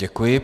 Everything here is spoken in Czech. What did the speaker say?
Děkuji.